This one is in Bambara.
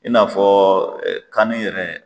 I n'afɔɔ ɛɛ kani yɛrɛ